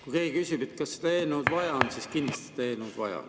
Kui keegi küsib, kas seda eelnõu on vaja, siis vastan: on kindlasti vaja.